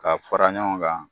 Ka fara ɲɔgɔn kan.